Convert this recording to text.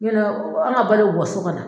Yɔrɔ an ka balo bɛ bɔ so ka na